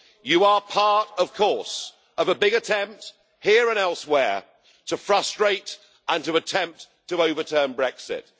You are part, of course, of a big attempt here and elsewhere to frustrate and to attempt to overturn Brexit.